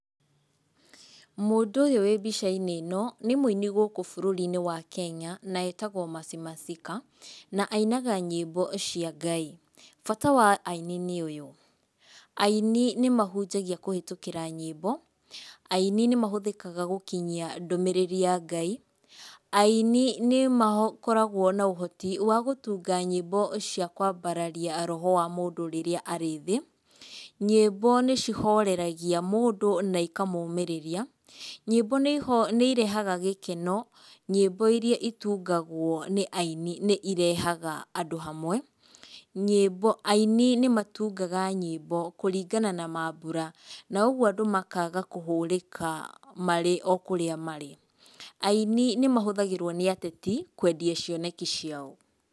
Mũndũ ũyũ wĩ mbica-inĩ ĩnoi nĩ mũini gũkũ bũrũri-inĩ wa Kenya na etagwo Mercy Masika, na ainaga nyĩmbo cia Ngai. Bata wa aini nĩ ũyũ. Aini nĩ mahunjagia kũhĩtũkĩra nyĩmbo, aini nĩ mahũthĩkaga gũkinyia ndũmĩrĩri ya Ngai. Aini nĩ makoragwo na ũhoti wa gũtunga nyĩmbo cia kwambararia roho wa mũndũ rĩrĩa arĩ thĩ. Nyĩmbo nĩ cihoreragia mũndũ na ikamũmĩrĩria. Nyĩmbo nĩ iho, nĩ irehaga gĩkeno, nyĩmbo iria itungagwo nĩ aini nĩ irehaga andũ hamwe. Nyĩmbo, aini nĩ matungaga nyĩmbo kũringana na mambũra na ũguo andũ makaga kũhũrĩka marĩ o kũrĩa marĩ. Aini nĩ mahũthagĩrwo nĩ ateti kwendia cioneki ciao.